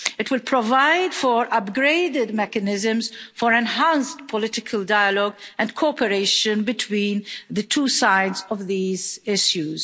It will provide for upgraded mechanisms for enhanced political dialogue and cooperation between the two sides of these issues.